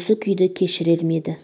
осы күйді кешірер ме еді